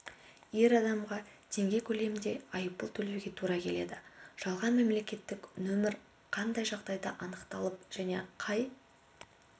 ер адамға теңге көлемінде айыппұл төлеуге тура келеді жалған мемлекеттік нөмір қандай жағдайда анықталып және қай